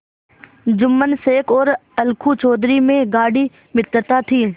जुम्मन शेख और अलगू चौधरी में गाढ़ी मित्रता थी